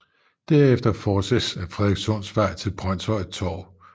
Derefter fortsættes ad Frederikssundsvej til Brønshøj Torv